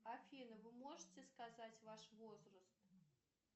афина вы можете сказать ваш возраст